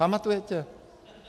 Pamatujete?